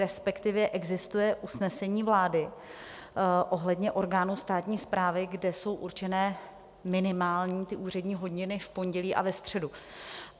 respektive existuje usnesení vlády ohledně orgánů státní správy, kde jsou určené minimální úřední hodiny v pondělí a ve středu.